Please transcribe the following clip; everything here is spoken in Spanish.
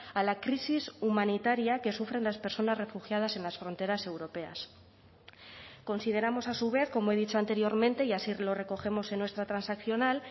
a la crisis humanitaria que sufren las personas refugiadas en las fronteras europeas consideramos a su vez como he dicho anteriormente y así lo recogemos en nuestra transaccional